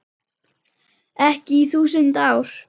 Ekki í þúsund ár.